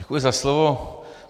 Děkuji za slovo.